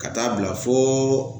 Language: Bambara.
Ka taa bila fo